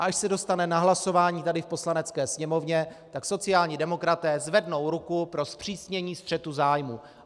A až se dostane na hlasování tady v Poslanecké sněmovně, tak sociální demokraté zvednou ruku pro zpřísnění střetu zájmů.